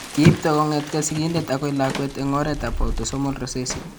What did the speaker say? Kiipto kong'etke sigindet akoi lakwet eng' oretab autosomal recessive.